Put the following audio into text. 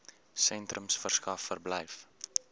sentrums verskaf verblyf